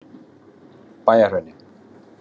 Bæjarhrauni